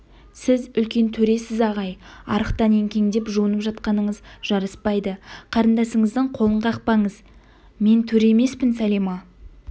сіз үлкен төресіз ағай арықтан еңкеңдеп жуынып жатқаныңыз жараспайды қарындасыңыздың қолын қақпаңыз мен төре емеспін сәлима